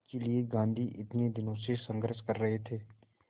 जिसके लिए गांधी इतने दिनों से संघर्ष कर रहे थे